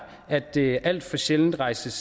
at der alt for sjældent rejses